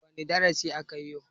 Wane darasi akayi yau?